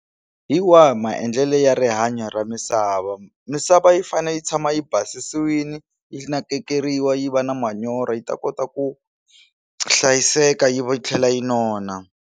Hi wahi maendlelo ya rihanyo ra misava misava yi fanele yi tshama yi basisiwile yi nakekeriwa yi va na manyoro yi ta kota ku hlayiseka yi va yi tlhela yi nona.